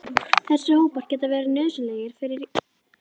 Þessir hópar geta verið nauðsynlegir fyrir rétta starfsemi prótíns.